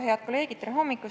Head kolleegid!